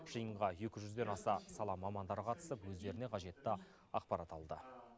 жиынға екі жүзден аса сала мамандары қатысып өздеріне қажетті ақпарат алды